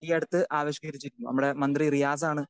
speaker 2 ഈയടുത്ത് ആവിഷ്കരിച്ചിരുന്നു നമ്മുടെ മന്ത്രി റിയാസാണ്